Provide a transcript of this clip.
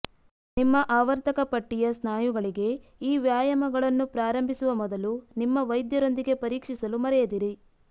ನಿಮ್ಮ ಆವರ್ತಕ ಪಟ್ಟಿಯ ಸ್ನಾಯುಗಳಿಗೆ ಈ ವ್ಯಾಯಾಮಗಳನ್ನು ಪ್ರಾರಂಭಿಸುವ ಮೊದಲು ನಿಮ್ಮ ವೈದ್ಯರೊಂದಿಗೆ ಪರೀಕ್ಷಿಸಲು ಮರೆಯದಿರಿ